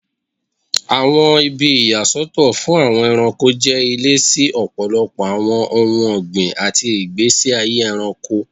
Awọn ibi iya Soto fun Awon eranko je ile si ọpọlọpọ awọn ohun ọgbin ati igbesi aye ẹranko.